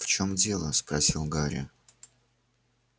в чем дело спросил гарри